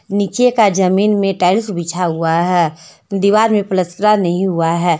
नीचे का ज़मीन में टाइल्स बिछा हुआ है दीवार में प्लास्टरा नही हुआ है।